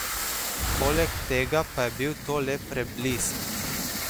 Poleg tega pa je bil to le preblisk.